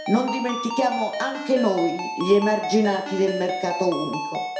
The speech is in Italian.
Non dimentichiamo, anche noi, gli emarginati del mercato unico.